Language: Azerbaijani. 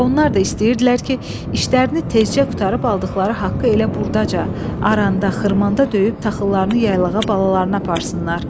Onlar da istəyirdilər ki, işlərini tezcə qurtarıb aldıqları haqqı elə burdaca, aranda, xırmanda döyüb taxıllarını yaylağa balalarına aparsınlar.